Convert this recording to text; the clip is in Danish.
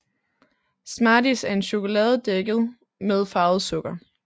Smarties er chokolade dækket med farvet sukker